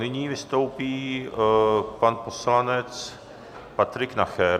Nyní vystoupí pan poslanec Patrik Nacher.